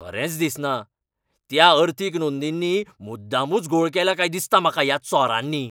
खरेंच दिसना! त्या अर्थीक नोंदींनी मुद्दामूच घोळ केला काय दिसता म्हाका ह्या चोरांनी!